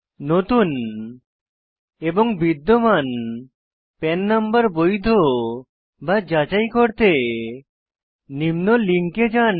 নতুন এবং বিদ্যমান পান নম্বর বৈধ বা যাচাই করতে নিম্ন লিঙ্কে যান